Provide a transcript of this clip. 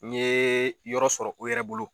N ye yɔrɔ sɔrɔ u yɛrɛ bolo